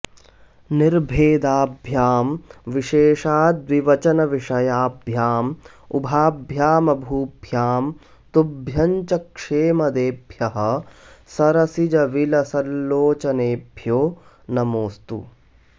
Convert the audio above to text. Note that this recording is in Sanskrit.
निर्भेदाभ्यां विशेषाद्विवचन विषयाभ्यामुभाभ्याममूभ्यां तुभ्यं च क्षेमदेभ्यः सरसिजविलसल्लोचनेभ्यो नमोस्तु